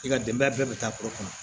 I ka denbaya bɛɛ bɛ taa kulo kɔnɔ